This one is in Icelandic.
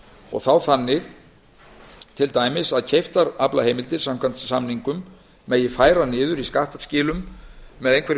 og þá þannig til dæmis að keyptar aflaheimildir samkvæmt samningum megi færa niður í skattskilum með einhverjum